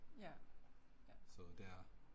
Ja, ja